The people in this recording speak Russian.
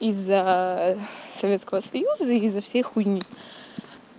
из-за советского союза из-за всей хуйни